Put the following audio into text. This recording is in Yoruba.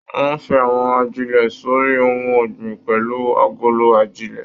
Wọn fín àwọn ajilẹ̀ s'ori ohùn ọgbin pẹlú agolo ajilẹ̀.